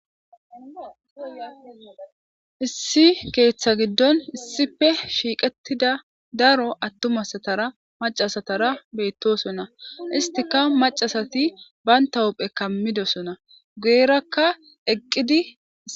issi keeththa giddon issife shiiqettida daro attumasatara macasatara beyttosona istika macasati bayntahupphe kammidosona guerakka eqqidi